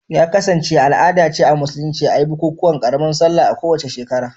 Ya kasance al'ada ce a Musulunci a yi bukukuwan karamar Sallah a kowace shekara